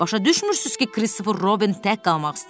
Başa düşmürsüz ki, Christopher Robin tək qalmaq istəyir?